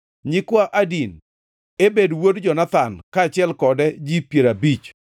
nyikwa Adin, Ebed wuod Jonathan, kaachiel kode ji piero abich;